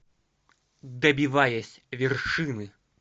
добиваясь вершины